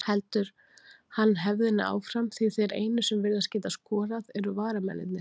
Heldur hann hefðinni áfram því þeir einu sem virðast geta skorað eru varamennirnir?